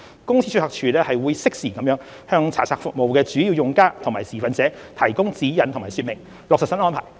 公司註冊處會適時向查冊服務的主要用家及持份者提供指引及說明，落實新安排。